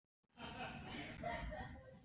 En hvernig er líf dansarans?